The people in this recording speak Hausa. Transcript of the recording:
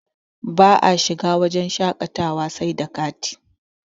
ba a shiga wajen shaƙatawa sai da kati